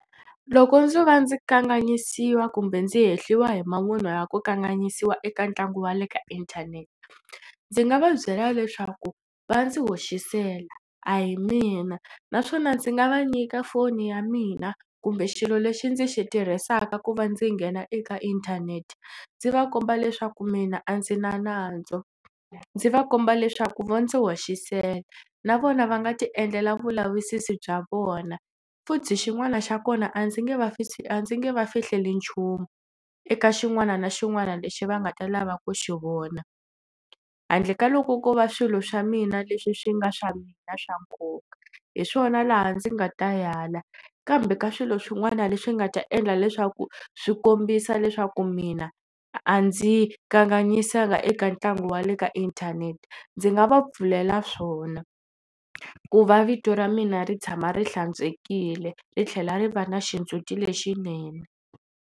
Loko ndzo va ndzi kanganyisiwa kumbe ndzi hehliwa hi mavunwa ya ku kanganyisiwa eka ntlangu wa le ka inthanete ndzi nga va byela leswaku va ndzi hoxisela a hi mina naswona ndzi nga va nyika foni ya mina kumbe xilo lexi ndzi xi tirhisaka ku va ndzi nghena eka inthanete ndzi va komba leswaku mina a ndzi na nandzu ndzi va komba leswaku vo ndzi hoxisela. Na vona va nga tiendlela vulavisisi bya vona futhi xin'wana xa kona a ndzi nge va a ndzi nge va fihleli nchumu eka xin'wana na xin'wana lexi va nga ta lava ku xi vona handle ka loko ko va swilo swa mina leswi swi nga swa mina swa nkoka hi swona laha ndzi nga ta ala kambe ka swilo swin'wana leswi nga ta endla leswaku swi kombisa leswaku mina a ndzi kanganyisaka eka ntlangu wa le ka inthanete ndzi nga va pfulela swona ku va vito ra mina ri tshama ri hlantswekile ri tlhela ri va na xindzuti lexinene.